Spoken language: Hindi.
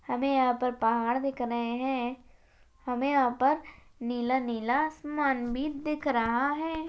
हमे यहाँ पर पहाड़ दिख रहे हैं हमे यहाँ पर नीला नीला आसमान भी दिख रहा हैं।